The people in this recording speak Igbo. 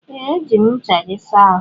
Ee, ejiri m ncha gị saa ahụ.